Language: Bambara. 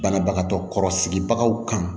Banabagatɔ kɔrɔ sigibagaw kan